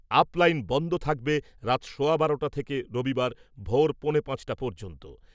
Up line বন্ধ থাকবে রাত সোয়া বারোটা থেকে রবিবার ভোর পৌনে পাঁচটা পর্যন্ত ।